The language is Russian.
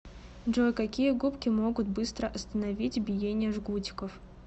джой какие губки могут быстро остановить биение жгутиков